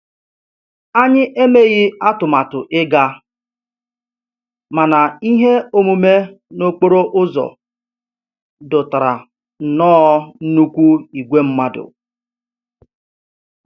Anyị emeghị atụmatụ ịga, mana ihe omume n'okporo ụzọ dọtara nnọọ nnukwu ìgwè mmadụ